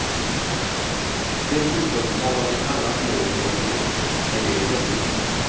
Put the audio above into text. Dessutom har jag ett annat mål jag vill uppnå men det är hemligt.